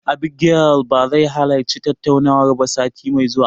Abigail ba zai halarci tattaunawar ba sati mai zuwa.